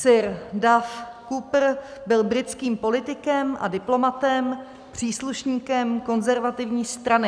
Sir Duff Cooper byl britským politikem a diplomatem, příslušníkem Konzervativní strany.